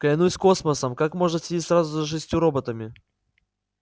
клянусь космосом как можно следить сразу за шестью роботами